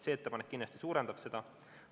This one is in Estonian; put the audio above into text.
See muudatus kindlasti suurendab seda.